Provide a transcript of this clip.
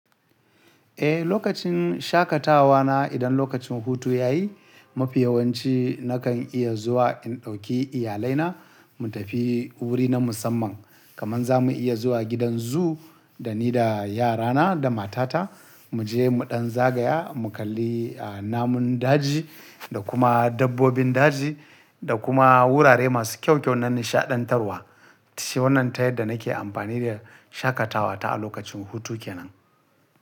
Eh, lokacin shaƙatawa na idan lokacin hutu ya yi, mafi yawanci na kan iya zuwa in ɗauki iyalai na mu tafi wuri na musamman. Kaman za mu iya zuwa gidan zoo da ni da yara na da matata mu je mu ɗan zagaya, mu kalli, namun daji da kuma dabbobin daji da kuma wurare masu kyau kyau na nishaɗantarwa. Shi wannan ta yadda na ke amfani da shaƙatawa ta a lokacin hutu kenan.